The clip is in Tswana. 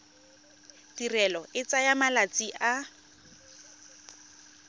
tirelo e tsaya malatsi a